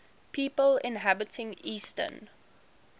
people inhabiting eastern